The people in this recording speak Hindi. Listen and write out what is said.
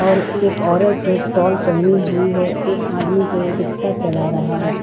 और एक औरत जो साल पहनी हुई है एक आदमी जो रिक्शा चला रहा है।